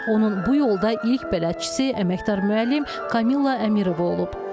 Onun bu yolda ilk bələdçisi əməkdar müəllim Kamilla Əmirova olub.